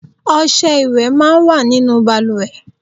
Ọṣẹ ìwẹ̀ máa ń wà nínú bàlùwẹ̀.